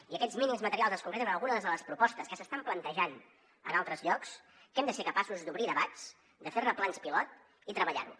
i aquests mínims materials es concreten en algunes de les propostes que s’estan plantejant en altres llocs que hem de ser capaços d’obrir debats de fer ne plans pilot i treballar ho